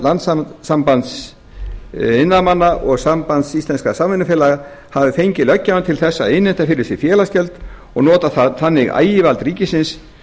landssambands iðnaðarmanna og sambands íslenskra samvinnufélaga hafi fengið löggjafann til þess að innheimta fyrir sig félagsgjöld og nota þannig ægivald ríkisins